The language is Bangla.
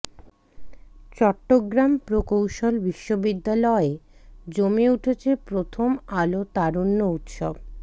চট্টগ্রাম প্রকৌশল বিশ্ববিদ্যালয় জমে উঠেছে প্রথম আলো তারুণ্য উৎসব